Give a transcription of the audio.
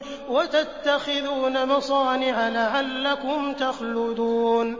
وَتَتَّخِذُونَ مَصَانِعَ لَعَلَّكُمْ تَخْلُدُونَ